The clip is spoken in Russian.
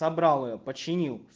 забрал её починил